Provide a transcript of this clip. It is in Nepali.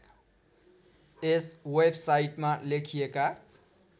यस वेबसाइटमा लेखिएका